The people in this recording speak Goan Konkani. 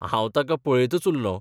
हांव ताका पळयतच उरलों.